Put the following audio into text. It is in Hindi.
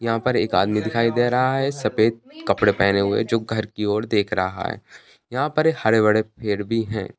यहाँ पर एक आदमी दिखाई दे रहा है सफेद कपड़े पहने हुए जो घर की ओर देख रहा है यहाँ पर हरे बड़े पेड़ भी हैं।